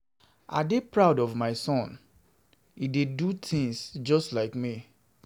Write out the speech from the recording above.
I dey proud of my son, he dey do things just like me